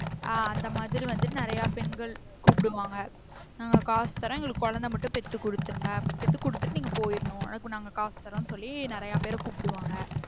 ஆஹ் அந்த மாதிரி வந்து நெறைய பெண்கள் கூப்டுவாங்க, நாங்க காசு தரோம் எங்களுக்கு கொழந்தை மட்டும் பெத்து குடுத்துருங்க பெத்து குடுத்திட்டு நீங்க போய்ரனும் அதுக்கும் நாங்க காசு தரோம்னு சொல்லி நெறைய பேர் ஆஹ் கூப்டுவாங்க